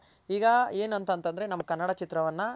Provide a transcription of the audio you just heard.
ಈಗ ಏನ್ ಅಂತ ಅಂದ್ರೆ ನಮ್ ಕನ್ನಡ ಚಿತ್ರವನ್ನ